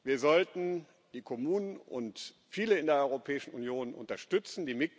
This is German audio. Wir sollten die Kommunen und viele in der Europäischen Union unterstützen.